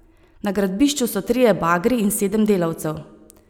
Na gradbišču so trije bagri in sedem delavcev.